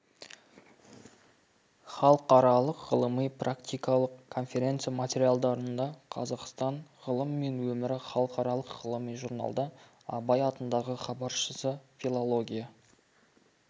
халықаралық ғылыми-практикалық конференция материалдарында қазақстан ғылымы мен өмірі халықаралық ғылыми журналда абай атындағы хабаршысы филология